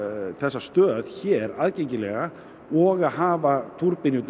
þessa stöð hér aðgengilega og að hafa túrbínurnar